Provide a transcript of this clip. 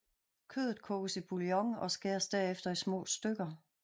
Kødet koges i bouillon og skæres derefter i små stykker